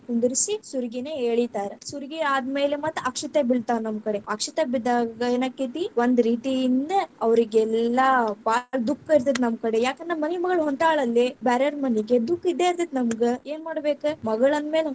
ಕುಂದರಿಸಿ, ಸುರಗಿ ನೀರ ಎಳಿತಾರ, ಸುರಗಿ ಆದ್ಮೇಲೆ ಮತ್ತ್‌ ಅಕ್ಷತೆ ಬಿಳ್ತಾವ ನಮ್ಮಕಡೆ, ಅಕ್ಷತೆ ಬಿದ್ದಾಗ ಏನಾಕ್ಕೇತಿ ಒಂದ್ ರೀತಿಯಿಂದ ಅವ್ರೀಗೆಲ್ಲಾ ಭಾಳ ದುಃಖ ಇರ್ತೇತಿ ನಮ್ಮಕಡೆ, ಯಾಕಂದ್ರ ಮನಿ ಮಗಳ ಹೊಂಟಾಳಲ್ಲೆ. ಬ್ಯಾರೆಯವ್ರ ಮನೀಗೆ ದಃಖ ಇದ್ದೇ ಇರ್ತೇತಿ ನಮ್ಗ, ಏನ್‌ ಮಾಡ್ಬೇಕ ಮಗಳಂದ್ ಮೇಲೆ.